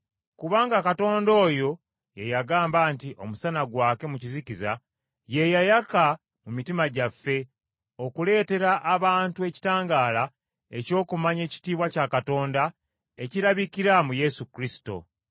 Kubanga Katonda oyo ye yagamba nti, “Omusana gwake mu kizikiza,” ye yayaka mu mitima gyaffe, okuleetera abantu ekitangaala eky’okumanya ekitiibwa kya Katonda ekirabikira mu Yesu Kristo.